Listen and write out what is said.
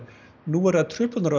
nú verða truflanir á